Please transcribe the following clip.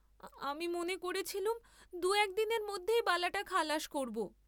আমি মনে করেছিলুম দু একদিনের মধ্যেই বালাটা খালাস করব।